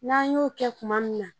N'an y'o kɛ tuma min na